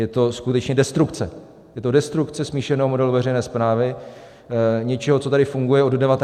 Je to skutečně destrukce, je to destrukce smíšeného modelu veřejné správy, něčeho, co tady funguje od 19. století.